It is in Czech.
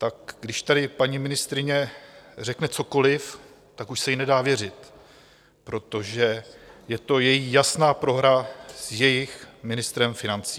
Tak když tady paní ministryně řekne cokoliv, tak už se jí nedá věřit, protože je to její jasná prohra s jejich ministrem financí.